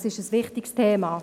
Es ist ein wichtiges Thema.